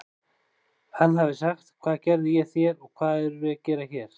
Hann hafi sagt: Hvað gerði ég þér og hvað erum við að gera hér?